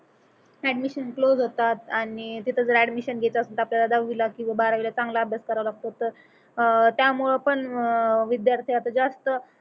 admission close होतात आणि तिथ जर अडमीशन आपल्याला दहावीला किंवा बारावीला चांगला अभ्यास करावा लागतो तर अह त्यामुळ पण अह विद्यार्थी आता जास्त